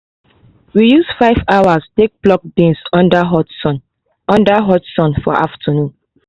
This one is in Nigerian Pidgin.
we use 5 hours take pluck beans under hot sun under hot sun for afternoon